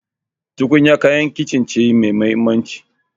Tukunya kayan kicin ce mai mahimmanci.